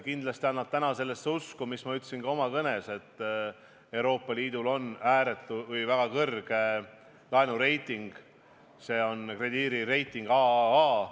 Kindlasti annab täna usku see, nagu ma ütlesin ka oma kõnes, et Euroopa Liidul on väga kõrge laenureiting – see on krediidireiting AAA.